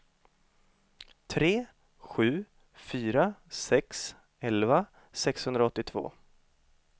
tre sju fyra sex elva sexhundraåttiotvå